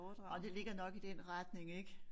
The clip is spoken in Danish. Nåh det ligger nok i den retning ik